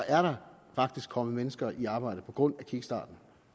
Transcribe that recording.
er der kommet mennesker i arbejde på grund af kickstarten